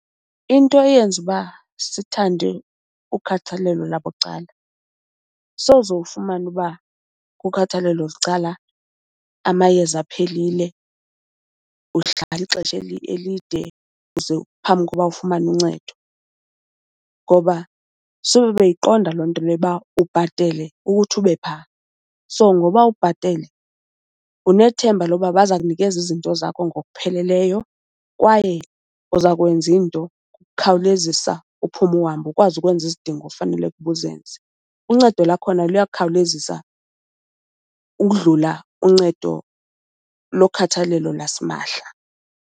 Into eyenza uba sithande ukhathalelo labucala, soze ufumane uba kukhathalelo bucala amayeza aphelile, uhlala ixesha elide uze, phambi kokuba ufumane uncedo ngoba sube beyiqonda loo nto leyo uba ubhatele ukuthi ube phaa. So ngoba ubhatele, unethemba lokuba baza kunikeza izinto zakho ngokupheleleyo kwaye uza kwenza iinto ngokukhawulezisa uphume uhambe, ukwazi ukwenza izidingo ofanele kuba uzenze. Uncedo lakhona luyakhawulezisa ukudlula uncedo lokhathalelo lasimahla.